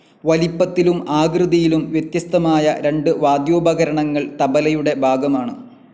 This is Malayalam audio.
വലിപ്പത്തിലും ആകൃതിയിലും വ്യത്യസ്തമായ രണ്ട് വാദ്യോപകരണങ്ങൾ തബലയുടെ ഭാഗമാണ്.